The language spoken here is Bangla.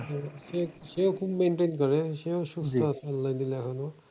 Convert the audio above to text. হম সে সেও খুব maintain করে সেও সুস্থ আল্লার